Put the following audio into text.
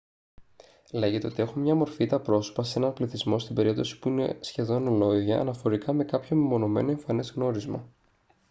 λέγεται ότι έχουν μία μορφή τα πρόσωπα σε έναν πληθυσμό στην περίπτωση που είναι σχεδόν ολόιδια αναφορικά με κάποιο μεμονωμένο εμφανές γνώρισμα